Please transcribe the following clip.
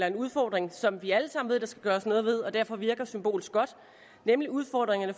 en udfordring som vi alle sammen ved der skal gøres noget ved og derfor virker symbolsk godt nemlig udfordringerne